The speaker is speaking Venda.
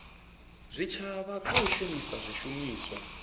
zwitshavha kha u shumisa zwishumiswa